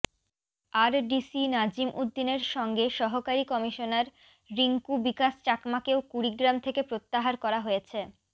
RDC Nazim উদ্দিনের সঙ্গে সহকারী কমিশনার রিংকু বিকাশ চাকমাকেও কুড়িগ্রাম থেকে প্রত্যাহার করা হয়েছে